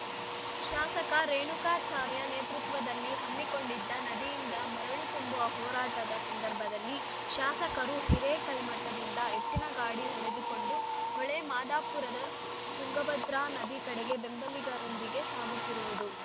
ಶಾಸಕ ರೇಣುಕಾಚಾರ್ಯ ನೇತೃತ್ವದಲ್ಲಿ ಹಮ್ಮಿಕೊಂಡಿದ್ದ ನದಿಯಿಂದ ಮರಳು ತುಂಬುವ ಹೋರಾಟದ ಸಂದರ್ಭದಲ್ಲಿ ಶಾಸಕರು ಹಿರೇಕಲ್ಮಠದಿಂದ ಎತ್ತಿನ ಗಾಡಿ ಹೊಡೆದುಕೊಂಡು ಹೊಳೆಮಾದಾಪುರದ ತುಂಗಾಭದ್ರಾ ನದಿ ಕಡೆಗೆ ಬೆಂಬಲಿಗರೊಂದಿಗೆ ಸಾಗುತ್ತಿರುವುದು